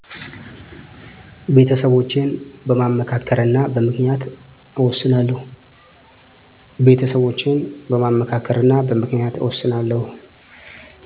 ቤተሰቦቸን በማማከርና በምክንያት እወስናለሁ።